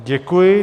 Děkuji.